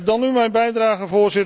Dan nu mijn bijdrage.